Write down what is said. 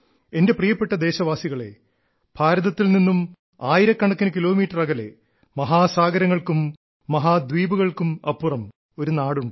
എന്റെ പ്രിയപ്പെട്ട ദേശവാസികളെ ഭാരതത്തിൽ നിന്നും ആയിരക്കണക്കിന് കിലോമീറ്റർ അകലെ മഹാസാഗരങ്ങൾക്കും മഹാദ്വീപുകൾക്കും അപ്പുറം ഒരു നാടുണ്ട്